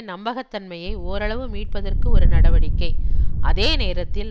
நம்பகத்தன்மையை ஓரளவு மீட்பதற்கு ஒரு நடவடிக்கை அதே நேரத்தில்